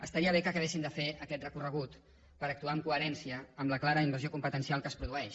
estaria bé que acabessin de fer aquest recorregut per actuar amb coherència en la clara invasió competencial que es produeix